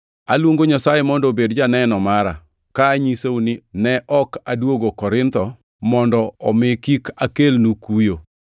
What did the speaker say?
Aluongo Nyasaye mondo obed janeno mara, ka anyisou ni ne ok aduogo Korintho mana mondo omi kik akelnu kuyo.